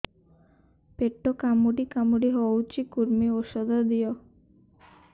ପେଟ କାମୁଡି କାମୁଡି ହଉଚି କୂର୍ମୀ ଔଷଧ ଦିଅ